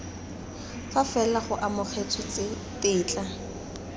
fa fela go amogetswe tetla